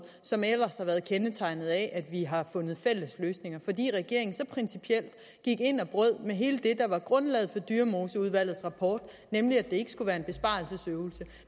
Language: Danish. som ellers har været kendetegnet ved at vi har fundet fælles løsninger fordi regeringen så principielt gik ind og brød med hele det der var grundlaget for dyremoseudvalgets rapport nemlig at det ikke skulle være en besparelsesøvelse